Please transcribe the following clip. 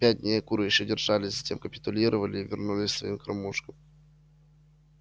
пять дней куры ещё держались затем капитулировали и вернулись к своим кормушкам